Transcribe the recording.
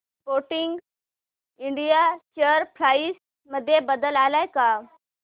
Sportking India share price मध्ये बदल आलाय का